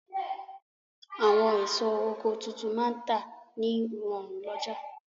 Àwọn èso oko tuntun máa n tà ní rọ̀rùn lọ́jà